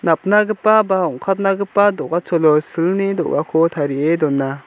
napnagipa ba ong·katnagipa do·gacholo silni do·gako tarie dona.